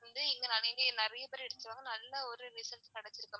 வந்து இங்க நிறைய நிறைய பேரு இருக்காங்க நல்ல ஒரு result கேடச்சிருக்கு.